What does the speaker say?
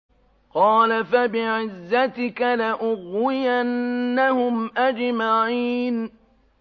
قَالَ فَبِعِزَّتِكَ لَأُغْوِيَنَّهُمْ أَجْمَعِينَ